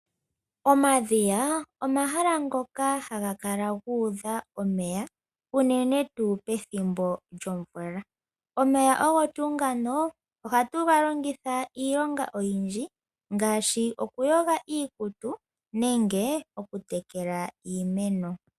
Omadhiya omahala ngoka haga kala guudha omeya unene tuu pethimbo lyo mvula, omeya ogo tuu ngano ohatu ga longitha iinima oyindji ngaashi oku yoga iikutu noshowo oku tekela iimeno.